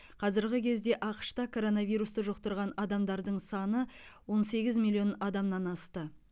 қазіргі кезде ақш та коронавирусты жұқтырған адамдар саны он сегіз миллион адамнан асты